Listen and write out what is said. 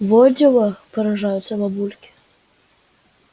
во дела поражаются бабульки